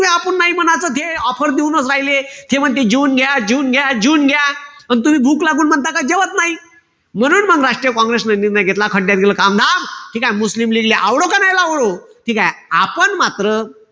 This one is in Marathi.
वेळा आपुन नाई म्हणायचं आपण हे offer देऊनच राहिल. ते म्हणते जिउन घ्या, जिउन घ्या, जिउन घ्या. पण तुम्ही भूक लागून म्हणता का जेवत नाई. म्हणून मंग राष्ट्रीय काँग्रेसन निर्णय घेतला. खड्ड्यात गेला ठीकेय? मुस्लिम लीगले आवडो का नाई आवडो, ठीकेय? आपण मात्र,